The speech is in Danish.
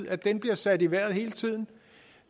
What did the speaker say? at den bliver sat i vejret hele tiden